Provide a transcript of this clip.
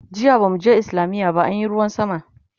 jiya bamu je islamiya ba anyi ruwan sama